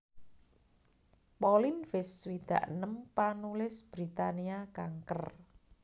Pauline Fisk swidak enem panulis Britania kanker